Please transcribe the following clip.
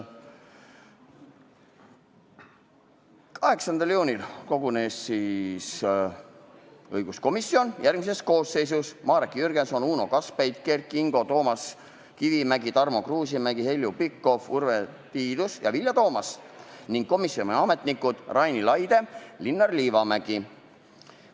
8. juunil kogunes õiguskomisjon järgmises koosseisus: Marek Jürgenson, Uno Kaskpeit, Kert Kingo, Toomas Kivimägi, Tarmo Kruusimäe, Heljo Pikhof, Urve Tiidus ja Vilja Toomast ning komisjoni ametnikud Raini Laide ja Linnar Liivamägi.